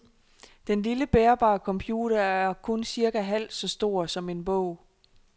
Den lille bærbar computer er kun cirka halvt så stor som en bog.